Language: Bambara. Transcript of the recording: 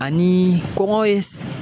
Ani kɔngɔ ye s